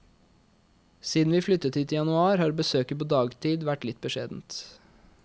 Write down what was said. Siden vi flyttet hit i januar har besøket på dagtid vært litt beskjedent.